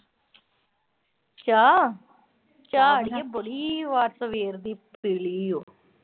ਚਾਹ। ਚਾਹ ਅੜੀਏ ਬੜੀ ਵਾਰ ਸਵੇਰ ਦੀ ਪੀ ਲਈ ਐ। ਅੱਛਾ।